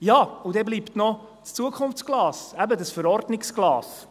Dann bleibt noch das Zukunftsglas, eben das Verordnungsglas.